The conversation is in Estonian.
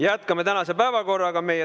Jätkame tänast päevakorda.